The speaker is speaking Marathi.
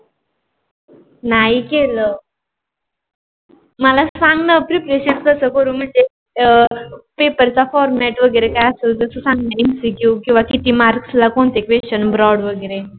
नाही केल. मला सांग न prepretion कस करू म्हणजे, अं पेपर चा format वगरे काय असल तस सांग न MCQ कीव्हा किती marks ला कोणते question broad वगेरे.